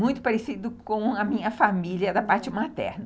Muito parecido com a minha família da parte materna.